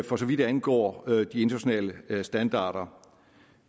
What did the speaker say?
for så vidt angår de internationale standarder